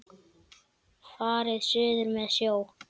Farið suður með sjó.